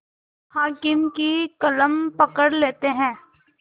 हाकिम की कलम पकड़ लेते हैं